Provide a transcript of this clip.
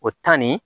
O tan nin